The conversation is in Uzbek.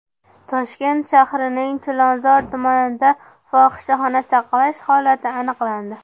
Toshkent shahrining Chilonzor tumanida fohishaxona saqlash holati aniqlandi.